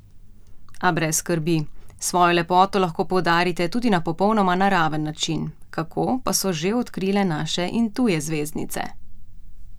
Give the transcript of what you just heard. A brez skrbi, svojo lepoto lahko poudarite tudi na popolnoma naraven način, kako, pa so že odkrile naše in tuje zvezdnice!